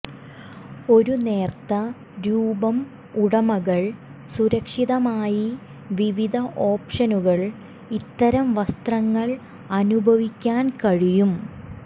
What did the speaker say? ഒരു നേർത്ത രൂപം ഉടമകൾ സുരക്ഷിതമായി വിവിധ ഓപ്ഷനുകൾ ഇത്തരം വസ്ത്രങ്ങൾ അനുഭവിക്കാൻ കഴിയും